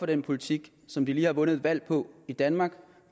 den politik som vi lige har vundet et valg på i danmark